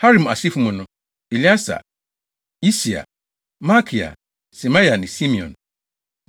Harim asefo mu no: Elieser, Yisia, Malkia Semaia ne Simeon.